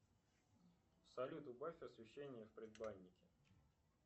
салют убавь освещение в предбаннике